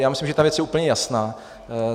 Já myslím, že ta věc je úplně jasná.